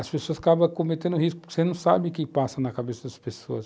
As pessoas acabam cometendo risco porque você não sabe o que passa na cabeça das pessoas.